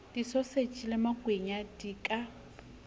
disoseji le makwenya di ka